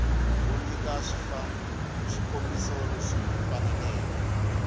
u nyika swikombiso leswi faneleke